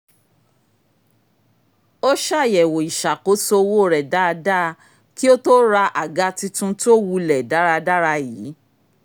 ó ṣàyẹ̀wò ìṣàkóso owó rẹ dáadáa kí ó tó ra àga tuntun tó wulẹ̀ dáradára yìí